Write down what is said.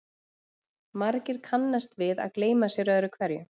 Margir kannast við að gleyma sér öðru hverju.